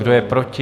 Kdo je proti?